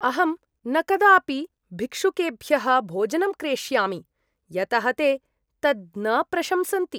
अहं न कदापि भिक्षुकेभ्यः भोजनं क्रेष्यामि, यतः ते तत् न प्रशंसन्ति।